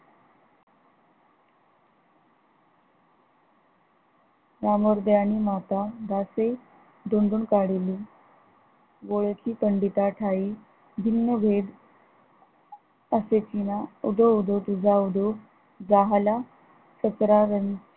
दोन दोन काढिली गोळ्याची कडीता ठाई भिन्न भेद असे तीन उधो उधो तीच उदो झाला